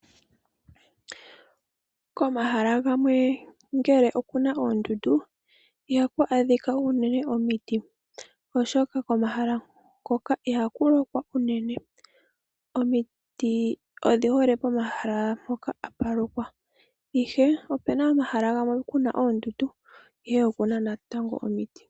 Komahala gamwe ngele okuna oondundu ihaku adhika unene omiti oshoka komahala ngoka ihaku lokwa unene. Omiti odhi hole pomahala mpoka hapu lokwa. Ihe opena omahala gamwe kuna oondundu ihe okuna natango omiti.